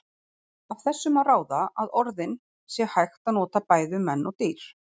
Af þessu má ráða að orðin sé hægt að nota bæði um menn og dýr.